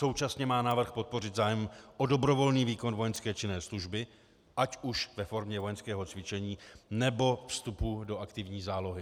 Současně má návrh podpořit zájem o dobrovolný výkon vojenské činné služby, ať už ve formě vojenského cvičení, nebo vstupu do aktivní zálohy.